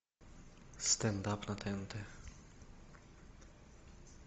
стендап на тнт